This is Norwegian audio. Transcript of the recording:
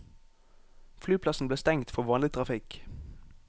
Flyplassen ble stengt for vanlig trafikk.